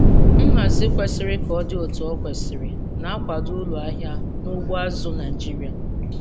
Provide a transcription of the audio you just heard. Nhazi kwesiri ka o dị etu o kwesiri na-akwado uru ahịa n'ugbo azụ̀ Naịjiria.